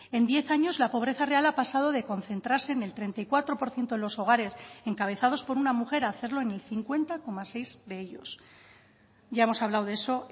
en diez años la pobreza real ha pasado de concentrarse en el treinta y cuatro por ciento de los hogares encabezados por una mujer a hacerlo en el cincuenta coma seis de ellos ya hemos hablado de eso